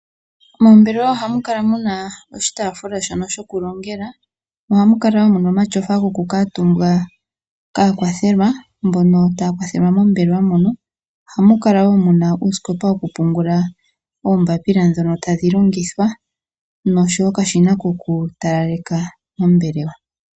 Moombelewa oha mu kala muna oshitaafula shono sho ku longela, mo oha mu kala wo muna omatyofa goku kuutumbwa kaakwathelwa mbono taya kwathelwa mombelewa mono, oha mu kala wo muna uusikopa wo ku pungula oombapila ndhono tadhi longithwa osho wo okashina ko ku talaleka mombelewa.